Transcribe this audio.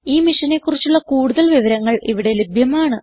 ഈ മിഷനെ കുറിച്ചുള്ള കുടുതൽ വിവരങ്ങൾ ഇവിടെ ലഭ്യമാണ്